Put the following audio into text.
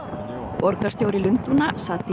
borgarstjóri Lundúna